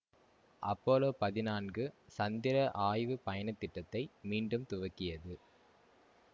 Apollo பதினான்கு சந்திர ஆய்வு பயண திட்டத்தை மீண்டும் துவக்கியது